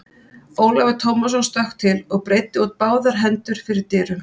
Ólafur Tómasson stökk til og breiddi út báðar hendur fyrir dyrum.